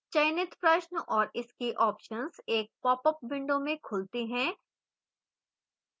चयनित प्रश्न और इसके options एक popअप window में खुलते हैं